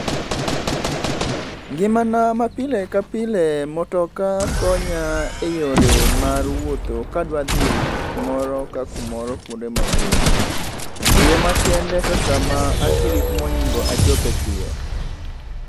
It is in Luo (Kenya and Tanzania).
Ngimana ma pile ka pile motoka konya e yore mar wuoth kadwa dhi kumoro ka kumoro kwonde mabor. E yo makende to sama antie gi kuma onego achope piyo.